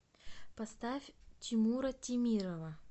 поставь тимура темирова